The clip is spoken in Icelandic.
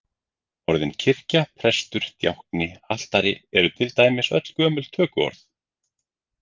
Orðin kirkja, prestur, djákni, altari eru til dæmis öll gömul tökuorð.